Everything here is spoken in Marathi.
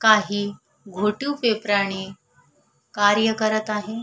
काही घोटीव पेपरा ने कार्य करत आहे.